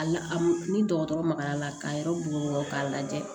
A la a m ni dɔgɔtɔrɔ magara la k'a yɛrɛ bugɔ k'a lajɛ